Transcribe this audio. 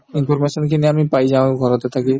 information খিনি আমি পাই যাওঁ ঘৰতে থাকি